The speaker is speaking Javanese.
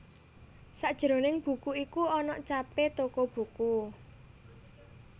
Sajroning buku iku ana capé toko buku